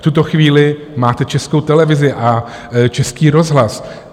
V tuto chvíli máte Českou televizi a Český rozhlas.